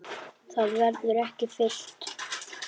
Það verður ekki fyllt.